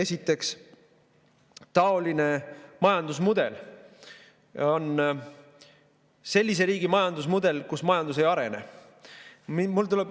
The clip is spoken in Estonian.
Esiteks, taoline majandusmudel on sellise riigi majandusmudel, kus majandus ei arene.